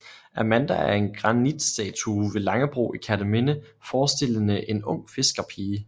Amanda er en granitstatue ved Langebro i Kerteminde forestillende en ung fiskerpige